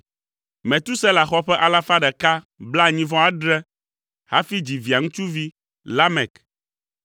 Metusela xɔ ƒe alafa ɖeka blaenyi-vɔ-adre (187) hafi dzi Via ŋutsuvi Lamek.